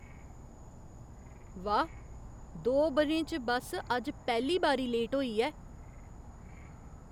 वाह्, दो ब'रें च बस्स अज्ज पैह्ली बारी लेट होई ऐ।